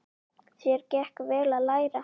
Þér gekk vel að læra.